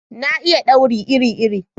Na iya dauri iri iri